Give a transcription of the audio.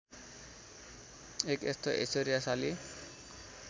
एक यस्तो ऐश्वर्यशाली